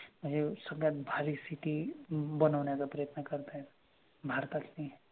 हे सगळ्यात भारी city बनवन्याचा प्रयत्न करतायत भारतातली